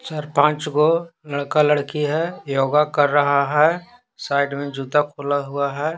सरपंच गो लड़का लड़की है योगा कर रहा है साइड में जूता खुला हुआ है।